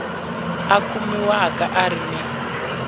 a kumiwaka a ri ni